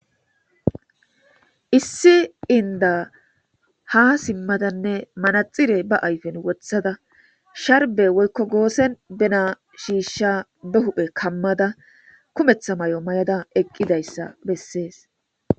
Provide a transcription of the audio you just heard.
issi inda ha simmadanne manaxire ba ayfen wothada sharbe woykko goosen bena shiishsha be huphe kammada kumetha mayo mayada eqqidayssa bessees